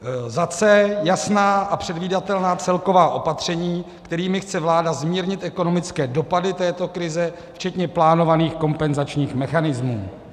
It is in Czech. c) Jasná a předvídatelná celková opatření, kterými chce vláda zmírnit ekonomické dopady této krize, včetně plánovaných kompenzačních mechanismů.